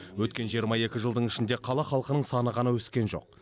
өткен жиырма екі жылдың ішінде қала халқының саны ғана өскен жоқ